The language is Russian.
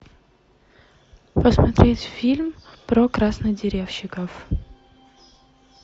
посмотреть фильм про краснодеревщиков